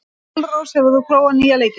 Dalrós, hefur þú prófað nýja leikinn?